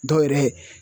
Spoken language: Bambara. Dɔw yɛrɛ